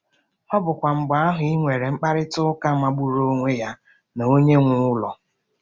Ọ bụkwa mgbe ahụ i nwere mkparịta ụka magburu onwe ya na onye nwe ụlọ.